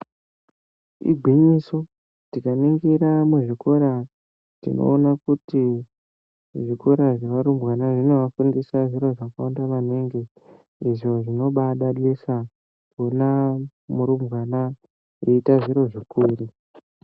Igwinyiso tikaningira muzvikora tinoona kuti zvikora zvevarumbwana zvinovafundisa zviro zvakawanda maningi izvo zvinobadadisa tinoona arumbwana eita zviro zvikuru .